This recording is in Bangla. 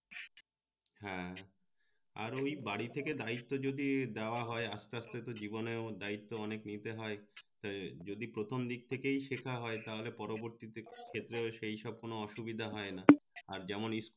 হ্যাঁ আর ওই বাড়ির থেকে দায়িত্ব যদি দেওয়া হয় আসতে আসতে জীবনেও দায়িত্ব অনেক নিতে হয় তা যদি প্রথম দিক থেকে শেখা হয় তা হলে পরবর্তী তে ক্ষেত্রে সেই সব কোন অসুবিধ হয় না আর যেমন ই